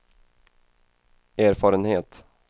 erfarenhet